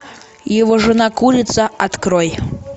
его жена курица открой